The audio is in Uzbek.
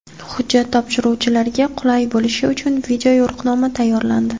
Hujjat topshiruvchilarga qulay bo‘lishi uchun video-yo‘riqnoma tayyorlandi.